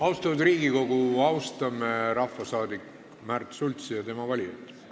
Austatud Riigikogu, austame rahvasaadik Märt Sultsi ja tema valijaid!